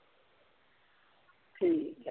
ਠੀਕ ਆ।